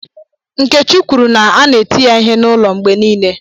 Nkechi kwuru na a na-eti ya ihe n'ụlọ mgbe niile